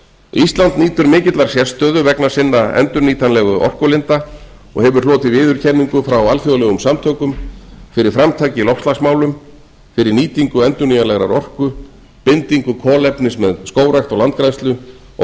ísland nýtur mikillar sérstöðu vegna sinna endurnýtanlegu orkulinda og hefur hlotið viðurkenningar frá alþjóðlegum samtökum fyrir framtak í loftslagsmálum fyrir nýtingu endurnýjanlegrar orku bindingu kolefnis með skógrækt og landgræðslu og